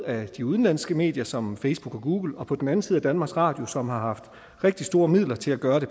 af de udenlandske medier som facebook og google og på den anden side af danmarks radio som har haft rigtig store midler til at gøre det